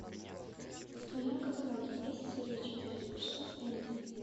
в твоем каталоге есть серия четыре что с энди